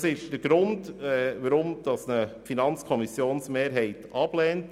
Das ist der Grund, weshalb die Mehrheit der FiKo diesen Antrag ablehnt.